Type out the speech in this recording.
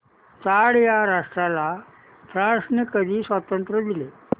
Chad या राष्ट्राला फ्रांसने कधी स्वातंत्र्य दिले